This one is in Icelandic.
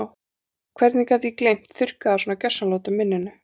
Hvernig gat ég gleymt, þurrkað það svona gjörsamlega út úr minninu?